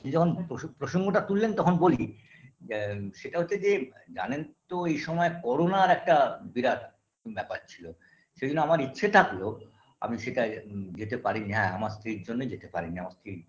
প্রসঙ্গ প্রসঙ্গটা তুললেন তখন বলি বা সেটা হচ্ছে যে জানেন তো এই সময় করোনার একটা বিরাট ব্যাপার ছিল সেইজন্যে আমার ইচ্ছা থাকলেও আমি সেটায় যেতে পারিনি হ্যাঁ আমার স্ত্রীর জন্যই যেতে পারিনি আমার স্ত্রী